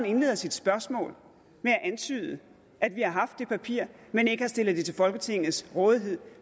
indleder sit spørgsmål med at antyde at vi har haft det papir men ikke har stillet det til folketingets rådighed